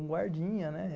Um guardinha, né?